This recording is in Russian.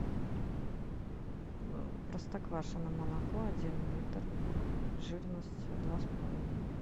простоквашино молоко один литр жирность два с половиной